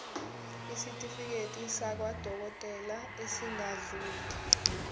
isitifiketi sakwadokodela esingadluli